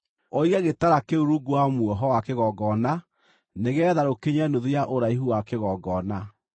Ũige gĩtara kĩu rungu wa muoho wa kĩgongona nĩgeetha rũkinye nuthu ya ũraihu wa kĩgongona.